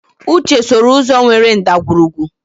Uche sooro ụzọ nwere ndagwurugwu.